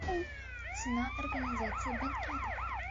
цена организации банкетов